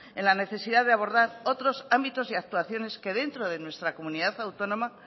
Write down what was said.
en la necesidad de abordar otros ámbitos y actuaciones que dentro de nuestra comunidad autónoma